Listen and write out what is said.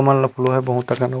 मान लो पुलवा बहुत अकन।